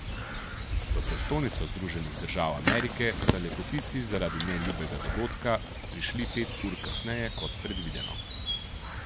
V prestolnico Združenih držav Amerike sta lepotici zaradi neljubega dogodka prišli pet ur kasneje kot predvideno.